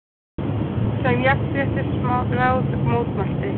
sem Jafnréttisráð mótmælti.